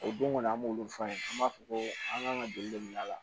O don kɔni an b'olu fɔ an ye an b'a fɔ ko an kan ka joli de bila a la